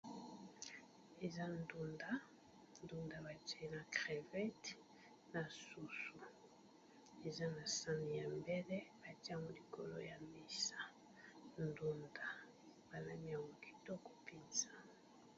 Eza ndunda, ndunda ba tie na crevete na soso. Eza na sani ya mbele batie yango likolo ya mesa ndunda ba lambi yango kitoko mpenza.